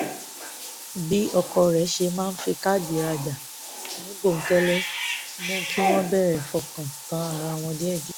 bí ọkọ rẹ̀ ṣe máa fi káàdì rajà ní bòókẹ́lẹ́ mú kí wọ́n bẹ̀rẹ̀ fọkàn tán ara wọn díẹ̀díẹ̀